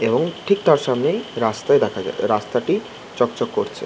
এবং ঠিক তার সামনেই রাস্তায় দেখা রাস্তাটি চকচক করছে ।